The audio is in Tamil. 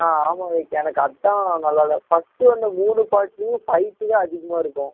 ஆஹ் ஆமா விவேக் எனக்கு அதான் நல்லா இல்ல first வந்த மூணு part லையும் fight தான் அதிகமா இருக்கும்